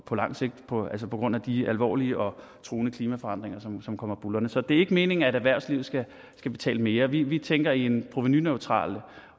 på lang sigt på grund af de alvorlige og truende klimaforandringer som som kommer buldrende så det er ikke meningen at erhvervslivet skal betale mere vi vi tænker i en provenuneutral